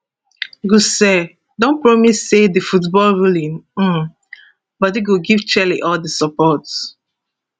gusau den promise say di footballruling um bodi go give chelle all di support